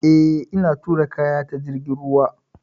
Eh, ina tura kaya ta jirgin ruwa.